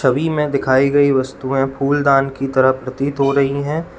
छवि में दिखाई गई वस्तुएं फूलदान की तरह प्रतीत हो रही हैं।